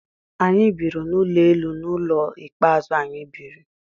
Anyị biri n'ụlọ elu n'ụlọ ikpe azu anyị biri